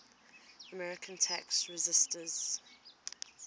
american tax resisters